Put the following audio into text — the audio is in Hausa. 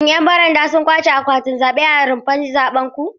Shin 'yan baranda sun ƙwace akwatin zaɓe a rumfar zaben ku?